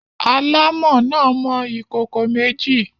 Alámọ̀ náà mọ ìkókó méjì.